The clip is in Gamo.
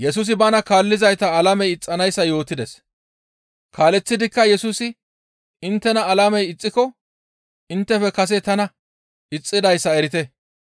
«Kaaleththidikka Yesusi inttena alamey ixxiko inttefe kase tana ixxidayssa erite.